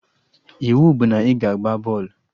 Iwu bụ na ị ga-agba bọọlụ!